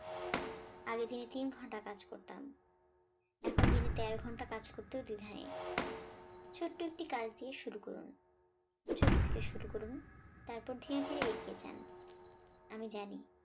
আগে দিনে তিন ঘন্টা কাজ করতাম, এখন দিনে তেরো ঘণ্টা কাজ করতেও দ্বিধা নেই। ছোট্ট একটি কাজ দিয়ে শুরু করুন ছোট থেকে শুরু করুন তারপর ধীরে ধীরে এগিয়ে যান। আমি জানি।